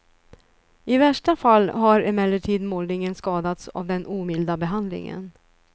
I värsta fall har emellertid målningen skadats av den omilda behandlingen.